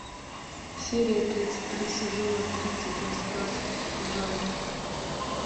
серия тридцать три сезона тридцать рассказ служанки